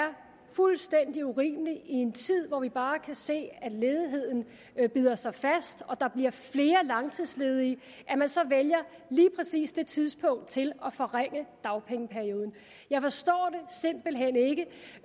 er fuldstændig urimeligt i en tid hvor vi bare kan se at ledigheden bider sig fast og der bliver flere langtidsledige at man så vælger lige præcis det tidspunkt til at forringe dagpengeperioden jeg forstår